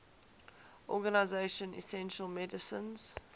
organization essential medicines